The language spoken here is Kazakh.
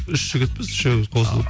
үш жігітпіз үшеуміз қосылып